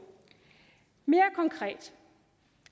mere konkret